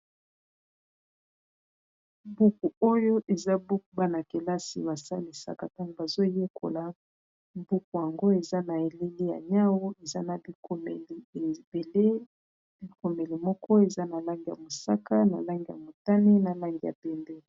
Buku oyo eza buku bana-kelasi ba salisaka tangu bazo yekola buku yango eza na eleli ya nyau eza na bikomeli ebele bikomeli moko eza na langi ya mosaka, na langi ya motani, na langi ya pembe.